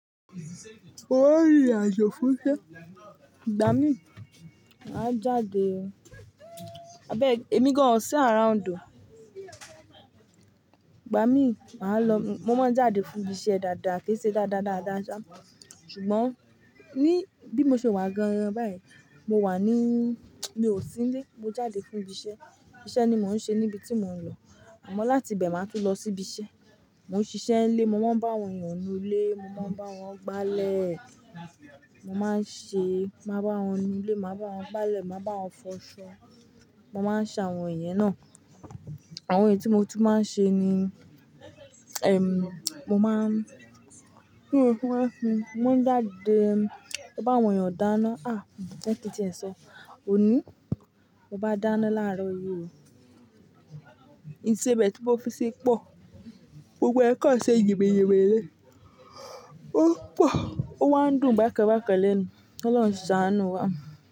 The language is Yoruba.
Orí àjò fún iṣẹ́. Gba mi, mà á jáde. Abẹg èmi gan an o sí around o. Gba mi, mà á lọ. Mo máa ń jáde fún iṣẹ́ dáadáa, kí n ṣe dáadáa dáàdá sa. Ṣùgbọ́n ní bí mo ṣe wà gangan báyìí, mo wà ní, mi ò sí nílé. Mo jáde fún ibi iṣẹ́. Iṣẹ́ ni mò ń ṣe níbi tí mò ń lọ. Àmọ́ láti ibẹ̀ máa tún lọ sí ibi iṣẹ́. Mo ń ṣiṣẹ́ nílé, mo máa ń bá àwọn èèyàn nu ilé, mo máa ń bá wọn gbálẹ̀, mo máa ń ṣe, máa bá wọn nu ilé, máa bá wọn gbálẹ̀, máa bá wọn fọṣọ. Mo máa ń ṣe àwọn iyen náà. Àwọn èyí tí mo tún máa ń ṣe ni, mo máa ń, kí ó tó fún ẹ fun, mo ń jáde, mo bá àwọn èèyàn dáná. À, jẹ́ kí ti ẹ sọ. Oní, mo bá dáná láàárọ̀ yìí. Ìṣẹbẹ́ẹ̀ tí mo fi ṣi pọ̀. Gbogbo kan ṣe yinmiyinmi ni. O pọ̀. O wá ń dùn bákan bákan lẹ́nu. Ọlọ́run ṣàánú wa.